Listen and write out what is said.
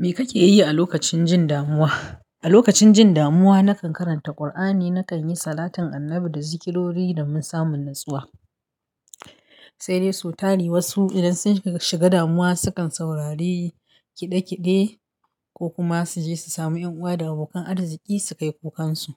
Me kake yi a lokacin jin damuwa? A lokacin jin damuwa, na kan karanta Ƙur'ani, na kan yi salatin annabi da zikirori, domin samun natsuwa. Sai dai so tari, wasu idan sun shiga damuwa sukan saurari kiɗe-kiɗe, ko kuma su je su samu ƴan uwa da abokan arziƙi, su kai kukan su.